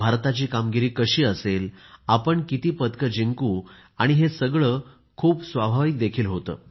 भारताची कामगिरी कशी असेल आपण किती पदकं जिंकू आणि हे सगळे खूप स्वाभाविक देखील होते